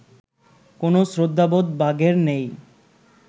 কোনও শ্রদ্ধাবোধ বাঘের নেই